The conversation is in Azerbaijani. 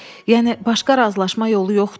Yəni başqa razılaşma yolu yoxdur?